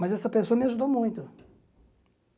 Mas essa pessoa me ajudou muito.